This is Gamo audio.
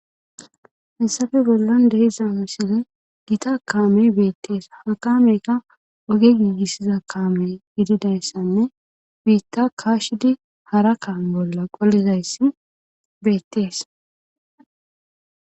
hissafe bollon dehiza misile gita kaamey beettees ha kameyka oge giigissiza kaamey gididayssanne biitta kaashidi hara kaame bolla qollizayssi beettees